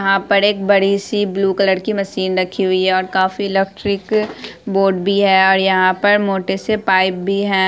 यहाँ पर एक बड़ी सी ब्लू कलर की मशीन रखी हुई है और काफी इलेक्ट्रिक बोर्ड भी है और यहाँ पर मोटे से पाइप भी है।